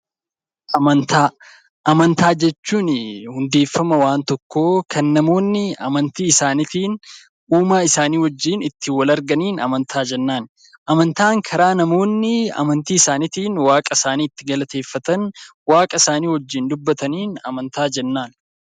Amantaa Amantaa jechuun hundeeffama waan tokkoo kan namoonni amantii isaaniitiin uumaa isaanii wajjin itti wal arganiin amantaa jennaan. Amantaan karaa namoonni amantii isaaniitiin waaqa isaanii itti galateeffatan, waaqa isaanii wajjin dubbataniin amantaa jennaan.